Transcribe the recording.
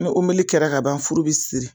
Ni umeli kɛra ka ban furu bi siri.